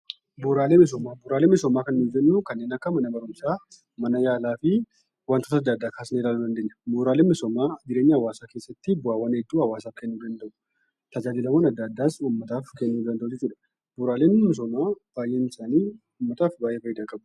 Bu'uuralee misoomaa kan nuti jennu kanneen akka mana barumsaa, mana yaalaa fi wantoota addaa addaa kan hammatuudha. Bu'uuraaleen misoomaa jireenya hawwaasa keeessatti faayidaa hedduu hawwaasaaf kennuu danda'u. Tajaajila addaa addaas uummataaf kennuu danda'u. Bu'uuraaleen misoomaa baayyinni isaanii uummataaf faayidaa hedduu qabu.